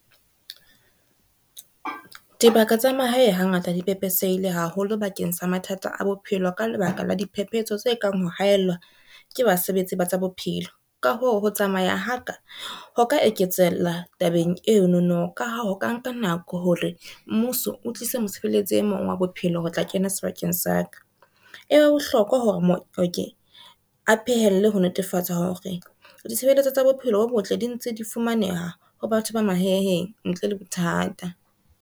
Dibaka tsa mahae ha ngata di pepesehile haholo bakeng sa mathata a bophelo ka lebaka la diphephetso tse kang, ho haellwa ke basebetsi ba tsa bophelo. Ka ho ho tsamaya ha ka, ho ka eketsella tabeng eno no ka ha ho ka nka nako hore mmuso o tlise mosebeletsi e mong wa bophelo ho tla kena sebakeng sa ka. E, ho bohlokwa hore mooki a phehelle ho netefatsa hore ditshebeletso tsa bophelo bo botle di ntse di fumaneha ho batho ba mahaeng ntle le bothata.